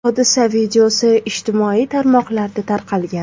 Hodisa videosi ijtimoiy tarmoqlarda tarqalgan.